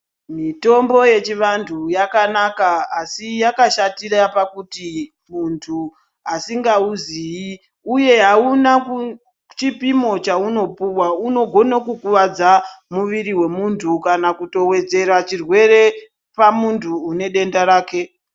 Mitombo yechivantu yakanaka asi yakashatira pakuti muntu ausingauziyi uye akuna chipimo chaunopuwa unogona Kukuwadza muviri wemuntu kana kuwedzera chirwere pamuntu une denda rake.